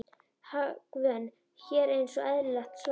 Hagvön hér eins og eðlilegt var.